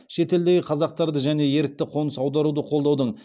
шетелдегі қазақтарды және ерікті қоныс аударуды қолдаудың